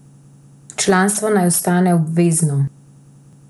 Članstvo naj ostane obvezno.